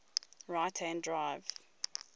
right hand drive